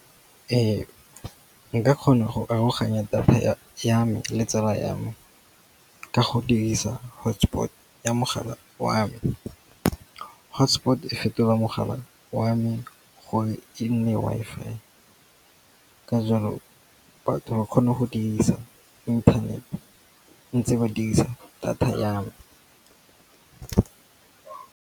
Nka kgona go aroganya data ya me le tsala ya me ka go dirisa hotspot ya mogala wa me. Hotspot e fetoga mogala wa a me gore e nne Wi-Fi, ka jalo batho ba kgone go dirisa internet ntse ba dirisa data ya me.